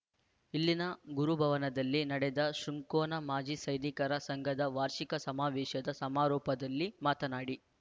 ಇಲ್ಲಿನ ಗುರುಭವನದಲ್ಲಿ ನಡೆದ ಶೃಂಕೊನ ಮಾಜಿ ಸೈನಿಕರ ಸಂಘದ ವಾರ್ಷಿಕ ಸಮಾವೇಶದ ಸಮಾರೋಪದಲ್ಲಿ ಮಾತನಾಡಿ